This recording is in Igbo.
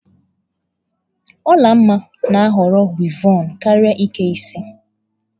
Olanma na-ahọrọ wịevọn karịa ịke isi.